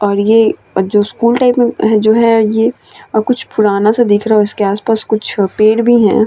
और ये जो स्कूल मै टाइप मै जो है ये अ कुछ पूरा सा दिख रहा है उसके आस-पास कुछ अ पेड़ भी है।